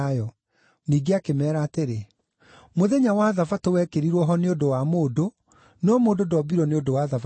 Ningĩ akĩmeera atĩrĩ, “Mũthenya wa Thabatũ wekĩrirwo ho nĩ ũndũ wa mũndũ, no mũndũ ndombirwo nĩ ũndũ wa Thabatũ.